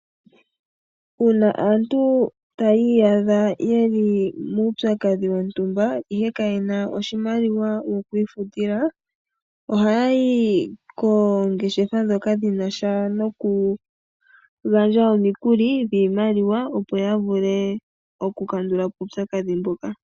Uuna aantu taya iyadha yeli muupyakadhi wontumba ihe kaye na oshimaliwa yokwiifutila, ohaya yi koongeshefa ndhoka dhinasha noku gandja omikuli dhiimaliwa opo ya vule oku kandula po uupyakadhi mbuka.